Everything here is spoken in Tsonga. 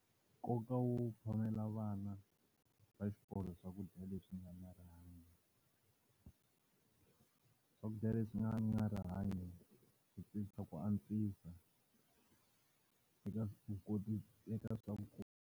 Nkoka wo phamela vana va xikolo swakudya leswi nga na rihanyo. Swakudya leswi nga na rihanyo ku ku antswisa eka eka .